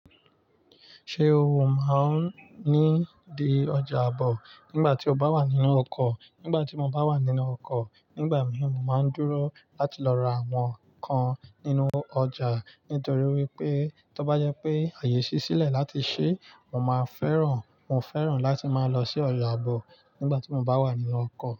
Ṣé o máa ń ní di ọjà àbọ̀ nígbà tí o bá wà nínú ọkọ̀? Nígbà tí mo bá wà nínú ọkọ̀, nígbà míì, mo máa ń dúró láti lọ ra àwọn nnkan nínú ọjà nítorí wípé, tó bá jẹ pé àyè ṣí sílẹ̀ láti ṣe, mo máa fẹ́ràn, mo fẹ́ràn láti máa lọ sí ọjà àbọ̀ nígbà tí mo bá wà nínú ọkọ̀